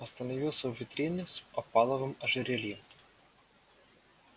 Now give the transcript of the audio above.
остановился у витрины с опаловым ожерельем